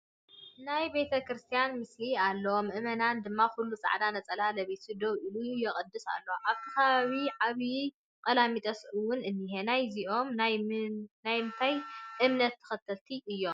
ናይ ቢተ ክርስትያን ምስሊ ኣሎ። መእመን ድማ ኩሉ ፃዕዳ ነፀላ ለቢሱ ደው ኢሉ የቅድስ ኣሎ ኣብቲ ከባቢ ዓብይ ቀላሚጦስ እውን እኒሄ ናይ እዚኦም ናይምንታይ እምነት ተከተልቲ እዮም ?